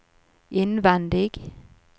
innvendig